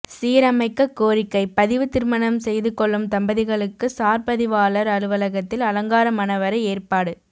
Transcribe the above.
சீரமைக்க கோரிக்கை பதிவு திருமணம் செய்துகொள்ளும் தம்பதிகளுக்கு சார்பதிவாளர் அலுவலகத்தில் அலங்கார மணவறை ஏற்பாடு